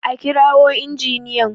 a kirawo injiniyan!